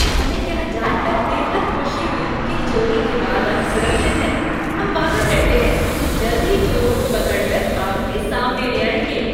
हमें यह जानकर बेहद खुशी हुई कि चोरी के बाद आप सुरक्षित हैं। हम वादा करते हैं कि जल्द ही चोरों को पकड़कर आपके सामने ले आएंगे।